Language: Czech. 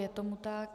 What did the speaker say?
Je tomu tak.